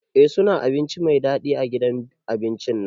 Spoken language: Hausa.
Eh suna abinci Mai dadi a gidan abincin nan.